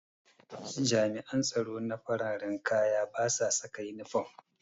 Jami'an tsaro na fararan kaya basa saka inifam